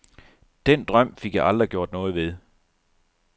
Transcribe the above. Den drøm fik jeg aldrig gjort noget ved.